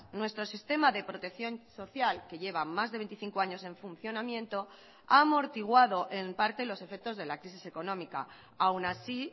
nuestro sistema de protección social que lleva más de veinticinco años en funcionamiento ha amortiguado en parte los efectos de la crisis económica aun así